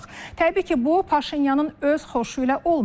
Təbii ki, bu Paşinyanın öz xoşu ilə olmayıb.